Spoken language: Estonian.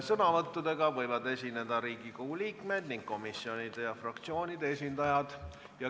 Sõnavõtuga võivad esineda Riigikogu liikmed ning komisjonide ja fraktsioonide esindajad.